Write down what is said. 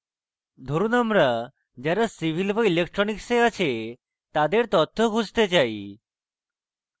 ধরুন আমরা যারা civil বা electronics আছে তাদের তথ্য খুঁজতে say